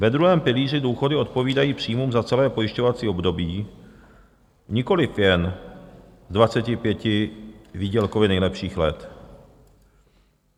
Ve druhém pilíři důchody odpovídají příjmům za celé pojišťovací období, nikoliv jen z 25 výdělkově nejlepších let.